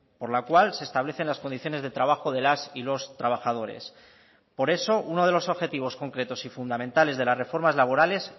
por la cual se establecen las condiciones de trabajo de las y los trabajadores por eso uno de loso objetivos concretos y fundamentales de las reformas laborales